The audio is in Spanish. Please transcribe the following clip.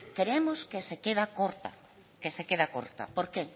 creemos que se queda corta por qué